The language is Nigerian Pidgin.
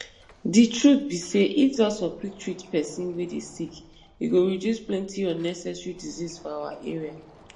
di truth be say if doctor quick treat pesin wey dey sick e go reduce plenty unnecessary disease for our area